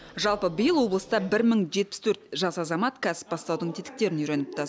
жалпы биыл облыста бір мың жетпіс төрт жас азамат кәсіп бастаудың тетіктерін үйреніпті